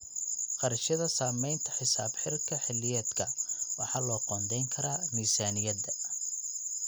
Kharashyada samaynta xisaab xidhka xilliyeedka waxa loo qoondayn karaa miisaaniyadda.